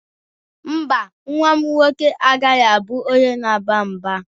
Mba, nwa m nwoke agaghị abụ onye na-agba mgba.